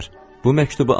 Bu məktubu alın.